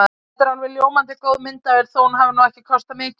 Þetta er alveg ljómandi góð myndavél þó að hún hafi nú ekki kostað mikið.